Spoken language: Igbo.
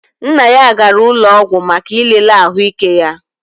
Nna ya gara ụlọọgwụ maka ilele ahụike ya